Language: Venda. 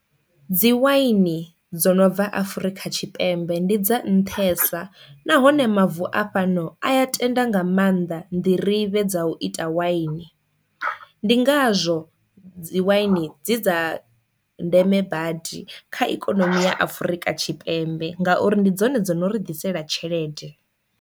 Dzi wine dzo no bva Afrika Tshipembe ndi dza nṱhesa nahone mavu a fhano a ya tenda nga maanḓa nḓirivhe dza u ita wine, ndi ngazwo dzi wine dzi dza ndeme badi kha ikonomi ya Afurika Tshipembe ngauri ndi dzone dzi no ri ḓisela tshelede.